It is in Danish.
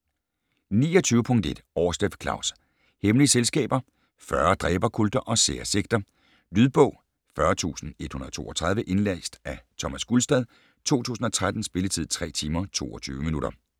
29.1 Aarsleff, Klaus: Hemmelige selskaber: 40 dræberkulter og sære sekter Lydbog 40132 Indlæst af Thomas Gulstad, 2013. Spilletid: 3 timer, 22 minutter.